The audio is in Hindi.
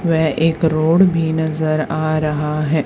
वह एक रोड भी नजर आ रहा हैं।